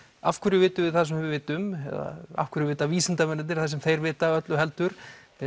af hverju vitum við það sem við vitum eða af hverju vita vísindamennirnir það sem þeir vita öllu heldur